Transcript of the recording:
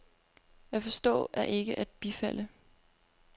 At forstå er ikke at bifalde.